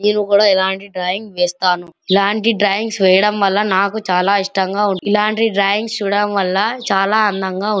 నేను కూడా ఇలాంటి డ్రాయింగ్స్ వేస్తాను ఇలాంటి డ్రాయింగ్స్ వేయడం వల్ల నాకు చాలా ఇష్టం గా ఉంది. ఇలాంటి డ్రాయింగ్స్ చూడడం వల్ల చాలా అందంగా --